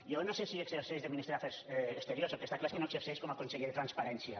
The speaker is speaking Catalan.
jo no sé si exerceix de ministre d’afers exteriors el que està clar és que no exerceix com a conseller de transparència